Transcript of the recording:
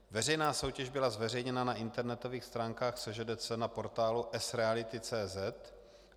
Veřejná soutěž byla zveřejněna na internetových stránkách SŽDC na portálu sreality.cz